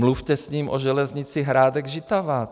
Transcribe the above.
Mluvte s ním o železnice Hrádek-Žitava.